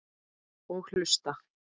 Og hlusta.